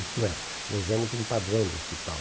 Isto é, nós demos um padrão do hospital.